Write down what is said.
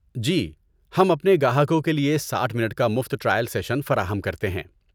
جی، ہم اپنے گاہکوں کے لیے ساٹھ منٹ کا مفت ٹرائل سیشن فراہم کرتے ہیں